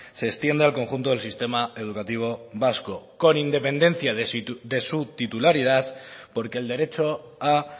se extiende al conjunto del sistema educativo vasco con independencia de su titularidad porque el derecho a